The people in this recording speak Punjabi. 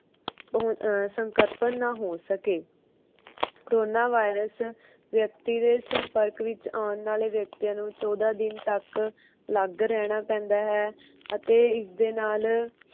ਉਹ ਅਹ ਸੰਕ੍ਰਪਨ ਨਾ ਹੋ ਸਕੇ corona virus ਵਿਅਕਤੀ ਦੇ ਸੰਪਰਕ ਵਿਚ ਓਣ ਆਲੇ ਵਿਅਕਤੀਆਂ ਨੂੰ ਚੋਦਹ ਦਿਨ ਤਕ ਅਲੱਗ ਰਹਿਣਾ ਪੈਂਦਾ ਹੈ ਅਤੇ ਇਸਦੇ ਨਾਲ।